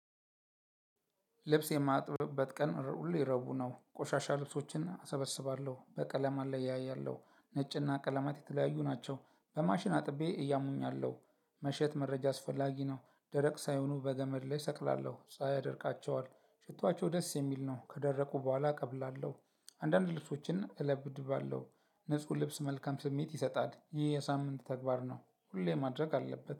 ልብስ የማጥብበት ቀን ሁሌ ረቡ ነው ቆሻሻ ልብሶችን አሰበስባለሁ በቀለም አለያያለሁ ነጭና ቀለማት የተለያዩ ናቸው በማሽን አጥቤ እያሙኛለሁ። መሸት መረጃ አስፈላጊ ነው። ደረቅ ሳይሆኑ በገመድ ላይ ሰቅላለሁ ፀሀይ ያደርቃቸዋል። ሽቷቸው ደስ የሚል ነው ከደረቁ በኋላ እቀብላለሁ። አንዳንድ ልብሶችን እለብድባለሁ ንጹህ ልብስ መልካም ስሜት ይሰጣል። ይህ የሳምንት ተግባር ነው። ሁሌ ማድረግ አለበት